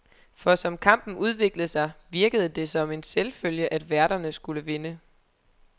For som kampen udviklede sig, virkede det som en selvfølge, at værterne skulle vinde.